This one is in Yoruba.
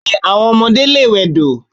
Bẹ́ẹ̀ni, àwọn ọmọdé lè wẹdò.